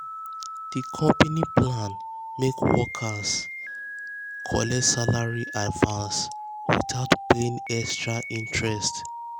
di company plan make workers plan make workers collect salary advance without paying extra interest.